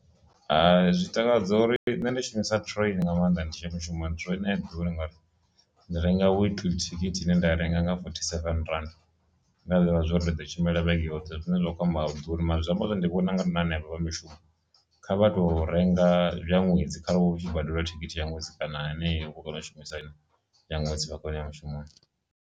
Hai, zwi takadza uri nṋe ndi shumisa train nga maanḓa ndi tshi ya mushumo train a i ḓuri ngauri ndi renga weekly thikhithi ine nda I renga nga fothy seven rannda nda ḓivha zwa uri ndi ḓo tshimbila vhege yoṱhe, zwine zwa kho amba ḓuri mara zwi amba zwori ndi vhona na henevha vha mishumo kha vha tou renga ya ṅwedzi kha re hu tshi badeliwa thikhithi ya ṅwedzi kana haneyo kona u shumisa ine ya ṅwedzi vha kone ya mushumoni.